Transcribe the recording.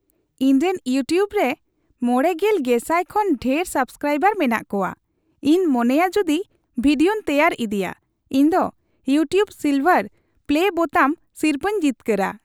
ᱤᱧᱨᱮᱱ ᱤᱭᱩᱴᱤᱭᱩᱵ ᱨᱮ ᱕᱐,᱐᱐᱐ ᱠᱷᱚᱱ ᱰᱷᱮᱨ ᱥᱟᱵᱥᱠᱨᱟᱭᱵᱟᱨ ᱢᱮᱱᱟᱜ ᱠᱚᱣᱟ ᱾ ᱤᱧ ᱢᱚᱱᱮᱭᱟ ᱡᱩᱫᱤ ᱵᱷᱤᱰᱤᱭᱳᱧ ᱛᱮᱭᱟᱨ ᱤᱫᱤᱭᱟ, ᱤᱧ ᱫᱚ "ᱤᱭᱩᱴᱤᱭᱩᱵ ᱥᱤᱞᱵᱷᱟᱨ ᱯᱞᱮ ᱵᱳᱛᱟᱢ" ᱥᱤᱨᱯᱟᱹᱧ ᱡᱤᱛᱠᱟᱹᱨᱟ ᱾